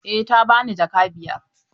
Eh ta bani jaka biyar.